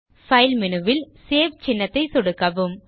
file menu ல் save சின்னத்தை சொடுக்கவும்